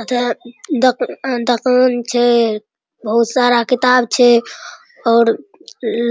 एता दुकान छै बहुत सारा किताब छै और